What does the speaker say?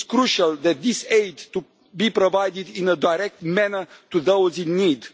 It is crucial that this aid be provided in a direct manner to those in need.